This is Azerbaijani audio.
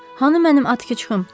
Hanı mənim Atkiçım?